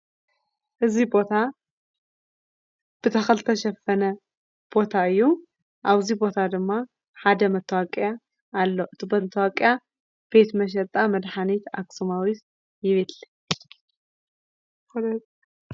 እዙይ ቦታ ብተኽሊ ዝተሸፈነ ቦታ እዩ፡፡ ኣብዙይ ቦታ ድማ ሓደ መስታወቂያ ኣሎ፡፡ እቲ መታወቅያ ድማ ቤት መሸጣ መድኃኒት ኣክስማዊት ይብል፡፡